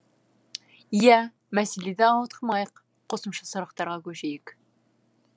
иә мәселеден ауытқымайық қосымша сұрақтарға көшейік